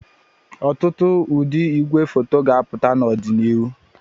Ọtụtụ ụdị igwefoto ga-apụta n'ọdịnihu